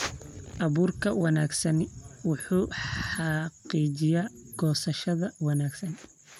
Abuurka wanaagsani wuxuu xaqiijiyaa goosashada wanaagsan.